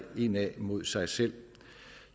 indad mod sig selv